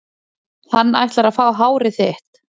Hann ætlar að fá hárið þitt.